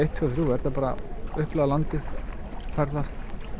tvö þriggja er það bara að upplifa landið ferðast